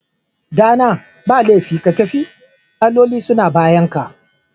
Ɗana, ba laifi ka tafi, alloli suna bayanka